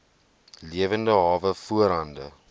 lewende hawe voorhande